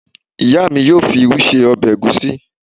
Ìyá mi yóò fi irú ṣe ọbẹ̀ ègúsi.